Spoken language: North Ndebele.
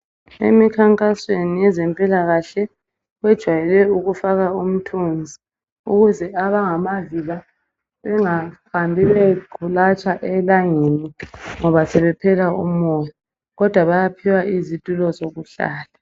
Emikhankasweni yezempilakahle bejwayele ukufaka imithunzi ukuze abangamavila bengahambi bequlatsha elangeni ngoba sebephela umoya kodwa bayaphiwa izitulo zokuhlala